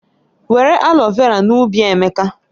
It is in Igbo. Were aloe vera n'ubi Emeka